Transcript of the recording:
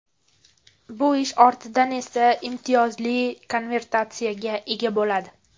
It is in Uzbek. Bu ishi ortidan esa imtiyozli konvertatsiyaga ega bo‘ladi.